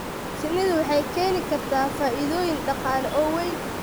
Shinnidu waxay keeni kartaa faa'iidooyin dhaqaale oo weyn.